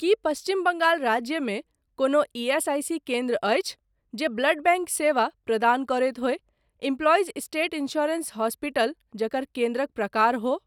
की पश्चिम बंगाल राज्यमे कोनो ईएसआईसी केन्द्र अछि जे ब्लड बैंक सेवा प्रदान करैत होय एम्प्लाइज स्टेट इन्स्योरेन्स हॉस्पिटल जकर केन्द्रक प्रकार हो।